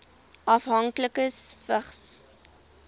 afhanklikes vigs